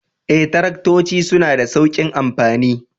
Ee, Taraktoci suna da sauƙin amfani